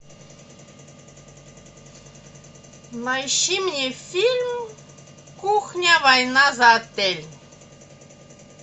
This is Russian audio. поищи мне фильм кухня война за отель